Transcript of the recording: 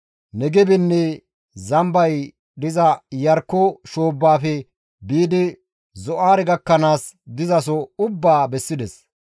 Negebenne zambay diza Iyarkko shoobbafe biidi Zo7aare gakkanaas dizaso ubbaa bessides.